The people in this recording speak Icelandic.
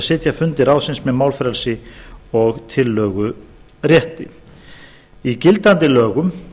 sitja fundi ráðsins með málfrelsi og tillögurétti klára árna þór í gildandi lögum